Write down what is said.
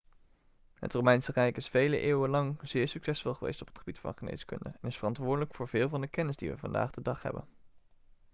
het romeinse rijk is vele eeuwen lang zeer succesvol geweest op het gebied van geneeskunde en is verantwoordelijk voor veel van de kennis die we vandaag de dag hebben